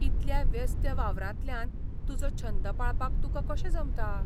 इतल्या व्यस्त वावरांतल्यान तुजो छंद पाळपाक तुकां कशें जमता ?